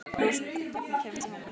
Rósinberg, hvernig kemst ég þangað?